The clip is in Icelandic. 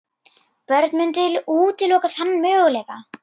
Börn mundu útiloka þann möguleika.